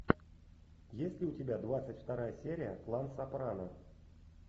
есть ли у тебя двадцать вторая серия клан сопрано